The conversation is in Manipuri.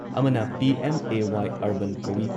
ꯑꯃꯅ ꯄꯤ.ꯑꯦꯝ.ꯑꯦ.ꯋꯥꯏ ꯑꯔꯕꯥꯟ ꯀꯧꯏ,